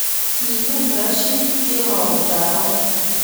kikin Rashid kemoutab amut